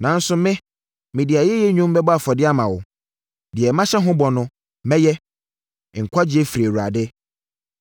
Nanso me, mede ayɛyie nnwom bɛbɔ afɔdeɛ ama wo. Deɛ mahyɛ ho bɔ no, mɛyɛ. Nkwagyeɛ firi Awurade.”